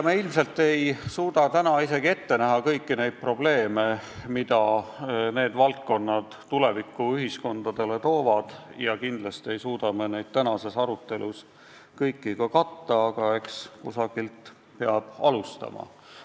Me ilmselt ei suuda praegu ette näha kõiki neid probleeme, mida need valdkonnad tulevikuühiskondades toovad, ja kindlasti ei suuda me neid kõiki ka tänases arutelus katta, aga eks kusagilt peab alustama.